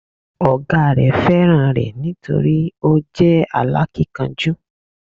Ọ̀gá rẹ̀ fẹ́ràn rẹ̀ nítorí o jẹ́ alákínkanjú